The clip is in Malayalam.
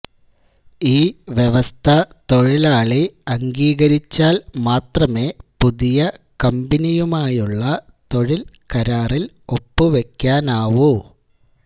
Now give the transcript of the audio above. ഈ വ്യവസ്ഥ തൊഴിലാളി അംഗീകരിച്ചാൽ മാത്രമേ പുതിയ കമ്പനിയുമായുള്ള തൊഴിൽ കരാറിൽ ഒപ്പു വെക്കാനാവൂ